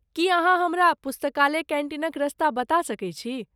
की अहाँ हमरा पुस्तकालय कैन्टीनक रस्ता बता सकैत छी?